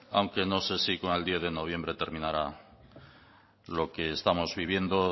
aunque no sé si con el diez de noviembre terminará lo que estamos viviendo